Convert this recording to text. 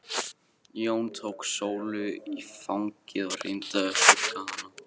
Jón tók Sólu í fangið og reyndi að hugga hana.